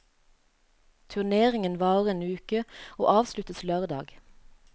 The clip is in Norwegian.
Turneringen varer en uke og avsluttes lørdag.